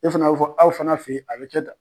E fana bi fɔ aw fana fe yen a bi kɛ tan.